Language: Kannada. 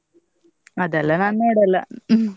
ಅದೆಲ್ಲಾ ನಾನ್ ನೋಡಲ್ಲ.